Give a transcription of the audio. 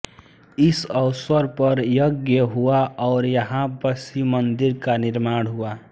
इस अवसर पर यज्ञ हुआ और यहां पर शिव मंदिर का निर्माण हुआ